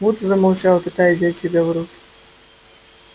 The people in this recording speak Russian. вуд замолчал пытаясь взять себя в руки